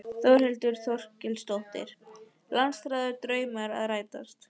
Þórhildur Þorkelsdóttir: Langþráður draumur að rætast?